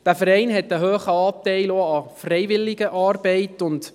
Der Verein weist einen hohen Anteil an Freiwilligenarbeit auf.